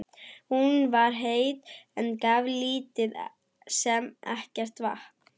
Hún var heit, en gaf lítið sem ekkert vatn.